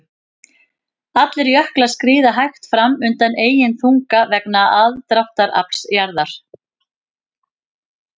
Allir jöklar skríða hægt fram undan eigin þunga vegna aðdráttarafls jarðar.